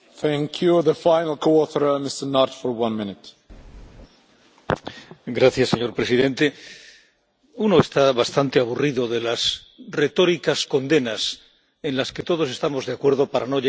Señor presidente, uno está bastante aburrido de las retóricas condenas en las que todos estamos de acuerdo para no llegar a otra cosa que tranquilizar nuestra propia conciencia, en ocasiones nuestra propia hipocresía.